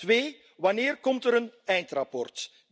Twee, wanneer komt er een eindrapport?